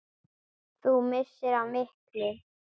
Þú misstir af miklu!